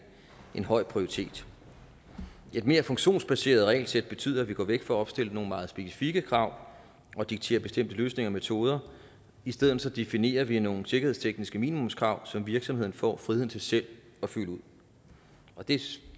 høj prioritet et mere funktionsbaseret regelsæt betyder at vi går væk fra at opstille nogle meget specifikke krav og diktere bestemte løsninger og metoder i stedet definerer vi nogle sikkerhedstekniske minimumskrav som virksomhederne får friheden til selv at fylde ud det